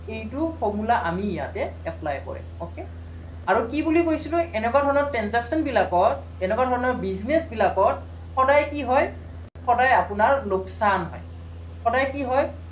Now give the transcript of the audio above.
এইটো formula আমি ইয়াতে apply কৰিম okay আৰু কি বুলি কৈছিলো এনেকুৱা ধৰণৰ transaction বিলাকত, এনেকুৱা ধৰণৰ business বিলাকত সদায় কি হয়, সদায় আপোনাৰ লোকচান হয়, সদায় কি হয়